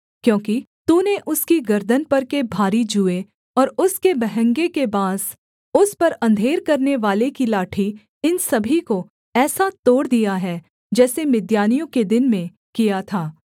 क्योंकि तूने उसकी गर्दन पर के भारी जूए और उसके बहँगे के बाँस उस पर अंधेर करनेवाले की लाठी इन सभी को ऐसा तोड़ दिया है जैसे मिद्यानियों के दिन में किया था